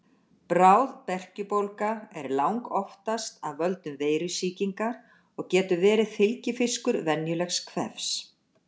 Bráð berkjubólga er langoftast af völdum veirusýkingar og getur verið fylgifiskur venjulegs kvefs.